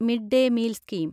mid-day meal scheme